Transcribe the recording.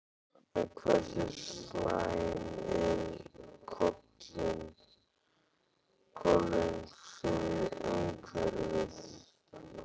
En hversu slæm eru kolin fyrir umhverfið?